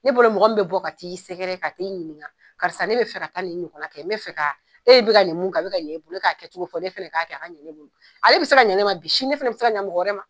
Ne bolo mɔgɔ min bi bɔ ka t'i sɛgɛrɛ ka ɲininka, karisa ne be fɛ ka taa nin ɲɔgɔnna kɛ, n bɛ ka, e bi ka nin mun kɛ, a bi ka ɲa e bolo, e ka kɛcogo fɔ, ale bi se ka ɲa ne ma bi, ne fɛnɛ bi se ka ɲamɔgɔ wɛrɛ ma.